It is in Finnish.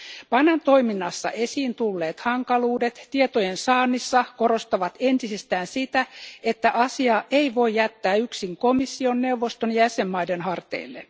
PANAn toiminnassa esiin tulleet hankaluudet tietojen saannissa korostavat entisestään sitä, että asiaa ei voi jättää yksin komission, neuvoston ja jäsenmaiden harteille.